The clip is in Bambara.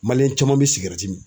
Maliyɛn caman bɛ min.